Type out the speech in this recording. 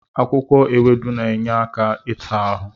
Akwụkwọ ewedu na-enye aka ịta ahụ.